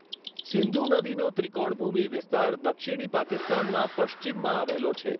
સિંધુ નદીનો ત્રિકોણભૂમિ વિસ્તાર દક્ષિણી પાકિસ્તાનમાં પશ્ચિમમાં આવેલો છે.